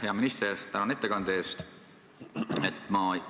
Hea minister, tänan ettekande eest!